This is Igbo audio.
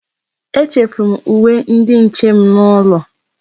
Echefuru m uwe ndi nche m n'ụlọ.